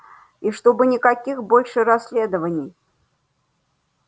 и чтобы никаких больше расследований